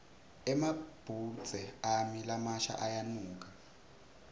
emabhudze ami lamasha aneludzaka